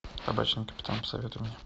табачный капитан посоветуй мне